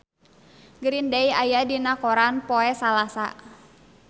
Green Day aya dina koran poe Salasa